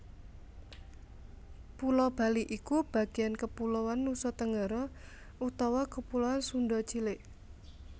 Pulo Bali iku bagéan kepuloan Nusatenggara utawa kepuloan Sunda cilik